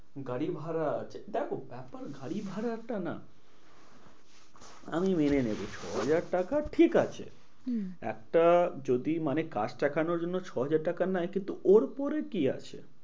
গাড়ি ভাড়া আছে দেখো ব্যাপার গাড়ি ভাড়াটা না আমি মেনে নেবো ছ হাজার টাকা ঠিকাছে হম একটা যদি মানে কাজ দেখানোর জন্য ছ হাজার টাকা নেয় কিন্তু ওর পরে কি আছে?